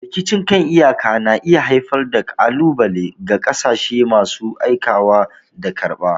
Rikicin kan iyaka na iya haifar da ƙalubale ga ƙasashen masu aikawa da karɓa.